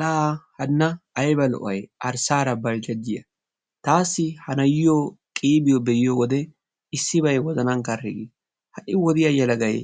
La hanna aybba lo"ay arsara baljajiya! taasi ha nayiyo qiibio be'iyodde issibay wozanani karhi gees ha wodiyaa yelaggay